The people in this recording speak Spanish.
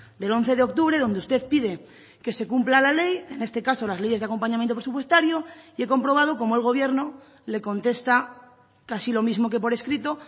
del once de octubre donde usted pide que se cumpla la ley en este caso las leyes de acompañamiento presupuestario y he comprobado cómo el gobierno le contesta casi lo mismo que por escrito